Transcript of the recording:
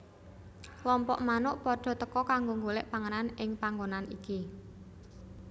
Klompok manuk padha teka kanggo golek panganan ing panggonan iki